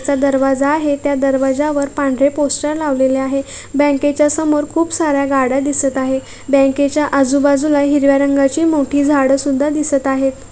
चा दरवाजा आहे त्या दरवाज्यावर पांढरे पोस्टर लावलेले आहे बँकेच्या समोर खूप सार्‍या गाड्या दिसत आहे बँकेच्या आजूबाजूला हिरव्या रंगाचे मोठी झाडे सुद्धा दिसत आहेत.